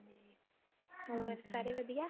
ਹੋਰ ਸਾਰੇ ਵਧੀਆ